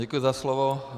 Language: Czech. Děkuji za slovo.